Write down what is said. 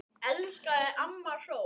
Elska þig, amma sól.